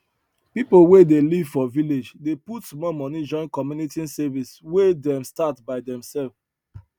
people wey dey live for village dey put small money join community savings wey dem start by demself